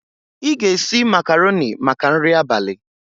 Ị ga-esi macarọnị maka nri abalị.